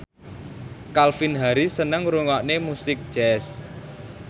Calvin Harris seneng ngrungokne musik jazz